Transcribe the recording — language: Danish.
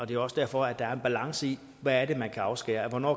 det er også derfor at der er en balance i hvad det er man kan afskære hvornår